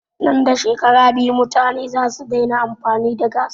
Nan da shekara biyu mutane zasu daina amfani da gass